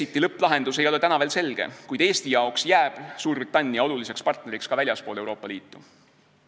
Brexiti lõpplahendus ei ole täna veel selge, kuid Eestile jääb Suurbritannia oluliseks partneriks ka väljaspool Euroopa Liitu.